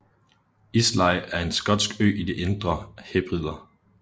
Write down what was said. Islay er en skotsk ø i de Indre Hebrider